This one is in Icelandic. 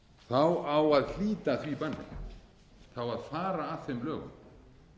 á að hlíta því banni það á að fara að þeim lögum